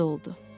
Razı oldu.